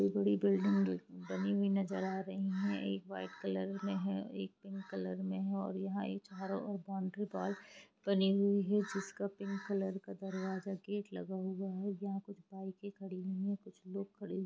एक बड़ी बिल्डिंग बनी हुई नज़र आ रही है एक वाइट कलर मे है और एक पिंक कलर मे है और यहाँ एक चारो और बाउंड्री वाल बनी हुई है जिसका पिंक कलर का दरवाज़ा गेट लगा हुआ है यहाँ कुछ बाइके खड़ी हुई है कुछ लोग खड़े--